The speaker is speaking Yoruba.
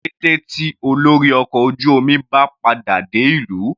Ní kété tí olórí ọkọ̀ ojú omi bá padà dé ìlú.